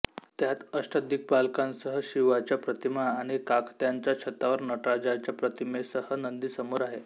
त्यात अष्टदिग्पालकांसह शिवाच्या प्रतिमा आणि काकत्यांच्या छतावर नटराजाच्या प्रतिमेसह नंदी समोर आहे